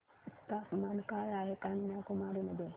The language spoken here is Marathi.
तापमान काय आहे कन्याकुमारी मध्ये